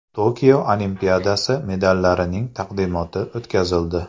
Tokio Olimpiadasi medallarining taqdimoti o‘tkazildi.